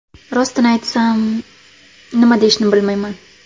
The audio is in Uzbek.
Rostini aytsam, nima deyishni bilmayman.